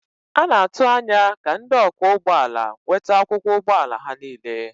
A na-atụ anya ka ndị ọkwọ ụgbọ ala nweta akwụkwọ ụgbọ ala ha niile.